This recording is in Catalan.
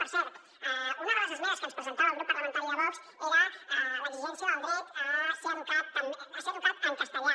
per cert una de les esmenes que ens presentava el grup parlamentari de vox era l’exigència del dret a ser educat en castellà